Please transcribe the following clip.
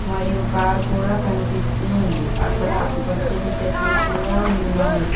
మరియు కార్ కూడా కనిపిస్తూ ఉంది అక్కడ ఆకుపచ్చని చెట్లు కూడా ఉన్నాయి.